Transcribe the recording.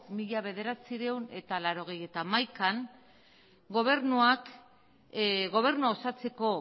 mila bederatziehun eta laurogeita hamaikan gobernuak gobernua osatzeko